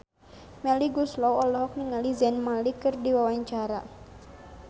Melly Goeslaw olohok ningali Zayn Malik keur diwawancara